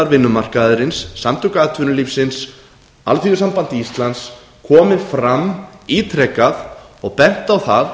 vinnumarkaðarins samtök atvinnulífsins alþýðusamband íslands komið fram ítrekað og bent á það